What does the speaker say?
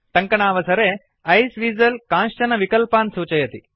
टङ्कणावसरे आइसवीजल कांश्चन विकल्पान् सूचयति